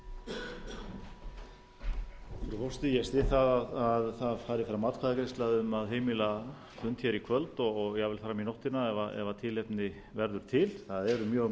ég styð að það fari fram atkvæðagreiðsla um að heimila fund í kvöld og jafnvel fram í nóttina ef tilefni verður til það eru mjög